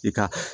I ka